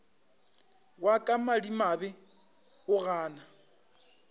wa ka madimabe o gana